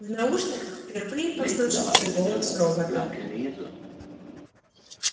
в наушниках впервые послышался голос робота